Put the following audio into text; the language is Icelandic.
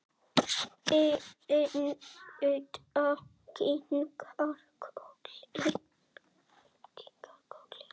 Edda kinkar kolli.